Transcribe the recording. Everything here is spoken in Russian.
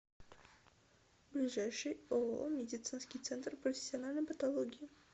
ближайший ооо медицинский центр профессиональной патологии